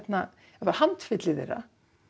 handfylli þeirra